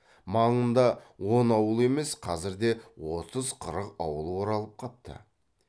маңында он ауыл емес қазірде отыз қырық ауыл оралып қапты